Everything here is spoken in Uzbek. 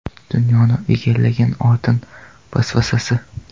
Dunyoni egallagan oltin vasvasasi.